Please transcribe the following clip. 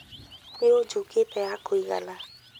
Nĩ ũnjukete ya kuigania